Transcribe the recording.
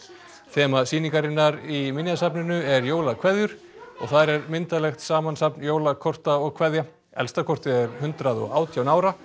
þema sýningarinnar í Minjasafninu er jólakveðjur og þar er myndarlegt samansafn jólakorta og kveðja elsta kortið er hundrað og átján ára